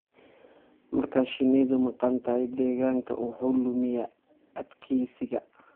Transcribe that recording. Marka shinnidu maqan tahay, deegaanku wuxuu lumiyaa adkaysigiisa.